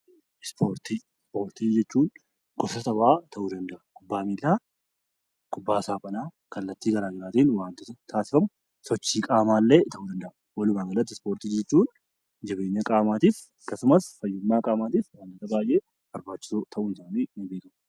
Ispoortii jechuun gosa taphaa ta'uu danda'a. Kubbaa miilaa, kubbaa saaphanaa akkasumas sochii qaamaa walumaa galatti jabeenya qaamaatiif akkasumas fayyummaa qaamaatiif kan tajaajilu fi barbaachisu ta'uu isaanii.